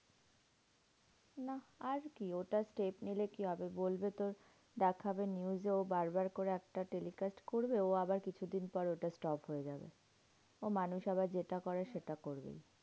নাহ আর কি? ওটা step নিলে কি হবে? বলবে তো দেখাবে news এও বার বার করে একটা telecast করবে। ও আবার কিছুদিন পর ওটা stop হয়ে যাবে। ও মানুষ আবার যেটা করে সেটা করবে।